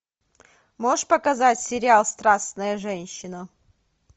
можешь показать сериал страстная женщина